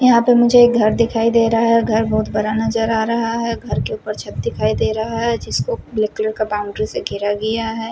यहाँ पे मुझे एक घर दिखाई दे रहा है घर बहुत बड़ा नज़र आ रहा है घर के ऊपर छत दिखाई दे रहा है जिसको ब्लैक कलर के बाउंड्री से घेरा गया है।